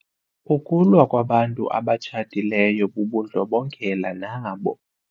Ukulwa kwabantu abatshatileyo bubundlobongela nabo.